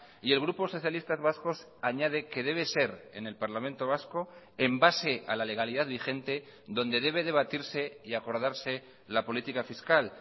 y el grupo socialistas vascos añade que debe ser en el parlamento vasco en base a la legalidad vigente donde debe debatirse y acordarse la política fiscal